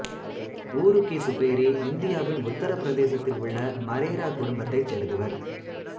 உரூகி சுபேரி இந்தியாவின் உத்தரபிரதேசத்தில் உள்ள மரேரா குடும்பத்தைச் சேர்ந்தவர்